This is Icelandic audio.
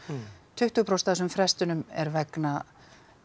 tuttugu prósent af þessum frestunum er vegna